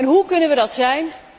Hoe kunnen we dat zijn?